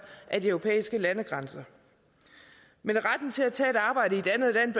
af de europæiske landegrænser men retten til at tage et arbejde i et andet land